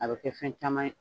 A bɛ kɛ fɛn caman ye.